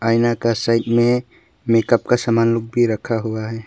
आईना का साइड में मेकअप का सामान लोग भी रखा हुआ है।